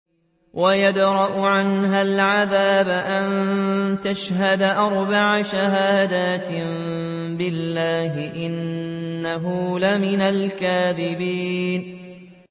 وَيَدْرَأُ عَنْهَا الْعَذَابَ أَن تَشْهَدَ أَرْبَعَ شَهَادَاتٍ بِاللَّهِ ۙ إِنَّهُ لَمِنَ الْكَاذِبِينَ